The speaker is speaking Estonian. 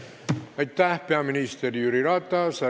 Aitäh, peaminister Jüri Ratas!